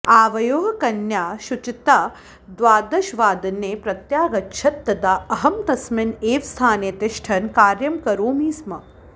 आवयोः कन्या शुचिता द्वादशवादने प्रत्यागच्छत् तदा अहं तस्मिन् एव स्थाने तिष्ठन् कार्यं करोमि स्म